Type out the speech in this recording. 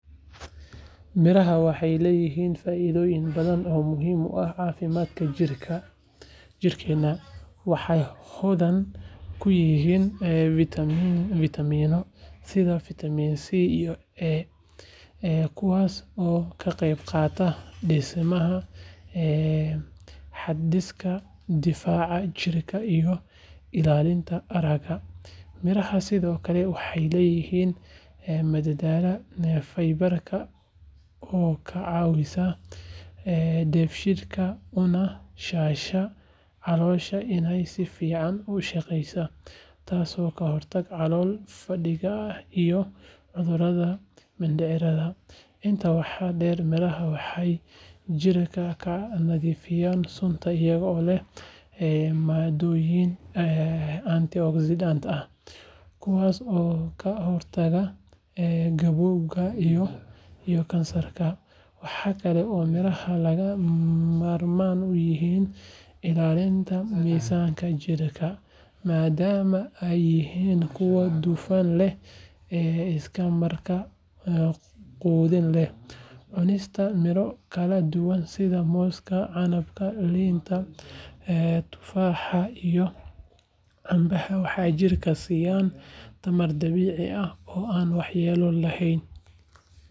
Miraha waxay leeyihiin faa’iidooyin badan oo muhiim u ah caafimaadka jirkeena. Waxay hodan ku yihiin fiitamiinno sida fiitamiin C iyo A, kuwaas oo ka qayb qaata dhisidda habdhiska difaaca jirka iyo ilaalinta aragga. Miraha sidoo kale waxay leeyihiin maadada faybarka oo ka caawisa dheefshiidka una sahasha caloosha inay si fiican u shaqeyso, taasoo ka hortagta calool fadhiga iyo cudurrada mindhicirka. Intaa waxaa dheer, miraha waxay jirka ka nadiifiyaan sunta iyagoo leh maadooyin antioxidants ah, kuwaas oo ka hortaga gabowga iyo kansarka. Waxaa kale oo miraha lagama maarmaan u yihiin ilaalinta miisaanka jirka, maadaama ay yihiin kuwo dufan yar leh isla markaana quudin leh. Cunista miro kala duwan sida mooska, canabka, liinta, tufaaxa iyo cambaha waxay jirka siisaa tamar dabiici ah oo aan waxyeello lahayn.